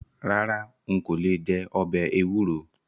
Rárá n kò lè jẹ ọbẹ̀ ewúro.